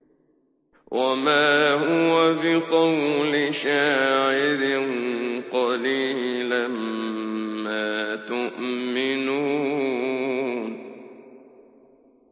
وَمَا هُوَ بِقَوْلِ شَاعِرٍ ۚ قَلِيلًا مَّا تُؤْمِنُونَ